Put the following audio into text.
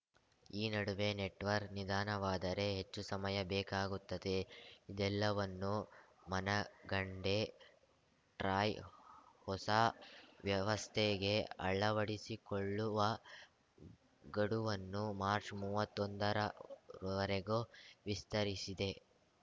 ಈ ನಡುವೆ ನೆಟ್‌ವರ್ಕ್ ನಿಧಾನವಾದರೆ ಹೆಚ್ಚು ಸಮಯ ಬೇಕಾಗುತ್ತದೆ ಇದೆಲ್ಲವನ್ನೂ ಮನಗಂಡೇ ಟ್ರಾಯ್‌ ಹೊಸ ವ್ಯವಸ್ಥೆಗೆ ಅಳವಡಿಸಿಕೊಳ್ಳುವ ಗಡುವನ್ನು ಮಾರ್ಚ್ ಮೂವತ್ತೊಂದರ ವರೆಗೂ ವಿಸ್ತರಿಸಿದೆ